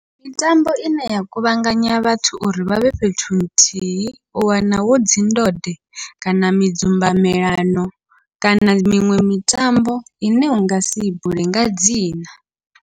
Mitambo ine ya kuvhanganya vhathu uri vhavhe fhethu nthihi, u wana hudzi ndode kana midzumbamelano kana miṅwe mitambo ine ungasi bule nga dzina.